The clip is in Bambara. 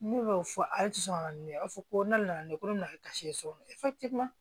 Ne b'o fɔ ale ti sɔn ka na ni a fɔ ko ne nana ne ko ne na karisa ye sɔgɔma